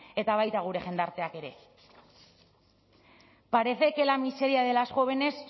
eta baita gure jendarteak ere parece que la miseria de las jóvenes